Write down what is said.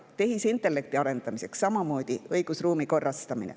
Tehisintellekti arendamiseks on samamoodi vajalik õigusruumi korrastamine.